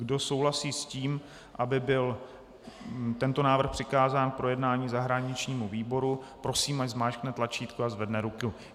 Kdo souhlasí s tím, aby byl tento návrh přikázán k projednání zahraničímu výboru, prosím ať zmáčkne tlačítko a zvedne ruku.